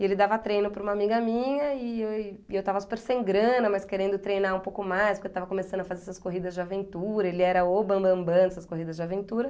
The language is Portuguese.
E ele dava treino para uma amiga minha e e eu estava super sem grana, mas querendo treinar um pouco mais, porque eu estava começando a fazer essas corridas de aventura, ele era o bambambam dessas corridas de aventura.